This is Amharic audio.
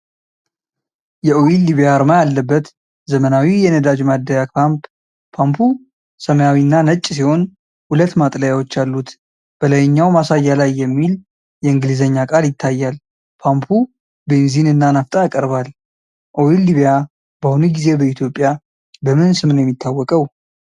የኦይል ሊቢያ አርማ ያለበት ዘመናዊ የነዳጅ ማደያ ፓምፕ። ፓምፑ ሰማያዊና ነጭ ሲሆን ሁለት ማጥለያዎች አሉት። በላይኛው ማሳያ ላይ የሚል የእንግሊዝኛ ቃል ይታያል። ፓምፑ ቤንዚን እና ናፍጣያቀርባል። ኦይል ሊቢያ በአሁኑ ጊዜ በኢትዮጵያ በምን ስም ነው የሚታወቀው?